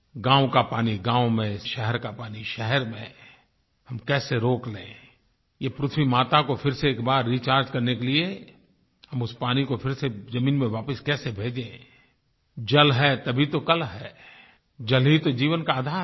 गाँव का पानी गाँव में शहर का पानी शहर में हम कैसे रोक लें ये पृथ्वी माता को फिर से एक बार रिचार्ज करने के लिये हम उस पानी को फिर से जमीन में वापस कैसे भेजें जल है तभी तो कल है जल ही तो जीवन का आधार है